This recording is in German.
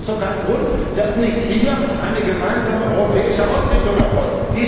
Aber das ist doch kein Grund, dass hier nicht eine gemeinsame europäische Ausrichtung erfolgt.